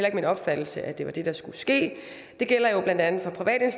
ikke min opfattelse at det var det der skulle ske det gælder jo blandt andet for private